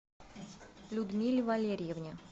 людмиле валерьевне